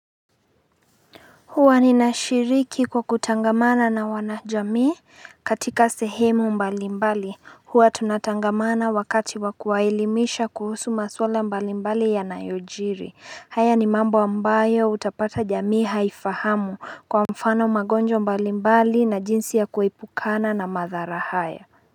Huwa nina shiriki kwa kutangamana na wanajamii katika sehemu mbali mbali huwa tunatangamana wakati wakuelimisha kuhusu maswala mbali mbali ya nayojiri haya ni mambo ambayo utapata jamii haifahamu kwa mfano magonjwa mbali mbali na jinsi ya kuepukana na madhara haya.